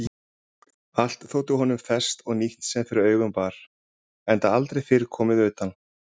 Allt þótti honum ferskt og nýtt sem fyrir augun bar enda aldrei fyrr komið utan.